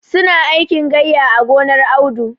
Su na aikin gayya a gonar Audu.